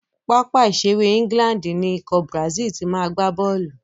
Pápá ìṣeré England ni ikọ̀ Brazil ti ma gbá bọ́ọ̀lù.